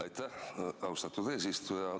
Aitäh, austatud eesistuja!